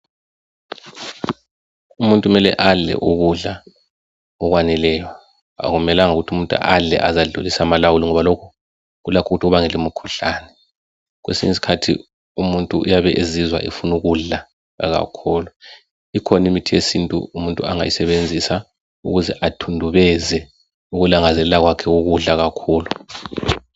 Umuntu kumele adle ukudla okwaneleyo. Akumelanga ukuthi umuntu adle aze adlulise amalawulo ngoba lokhu kulakho ukuthi kubangele imikhuhlane. Kwesinye isikhathi umuntu uyabe ezizwa efuna ukudla kakhulu. Ikhona imithi yesintu umuntu angayisebenzisa ukuze athundubeze ukulangazelela kwakhe ukudla kakhulu.